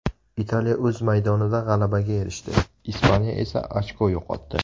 Italiya o‘z maydonida g‘alabaga erishdi, Ispaniya esa ochko yo‘qotdi.